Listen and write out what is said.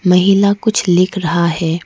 महिला कुछ लिख रहा है।